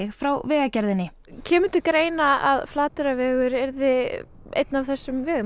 frá Vegagerðinni kemur til greina að Flateyrarvegur yrði einn af þessum vegum